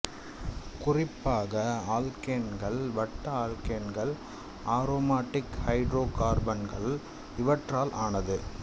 குறிப்பாக ஆல்க்கேன்கள் வட்ட ஆல்க்கேன்கள் அரோமாட்டிக் ஹைடிரோகார்பன்கள் இவற்றால் ஆனது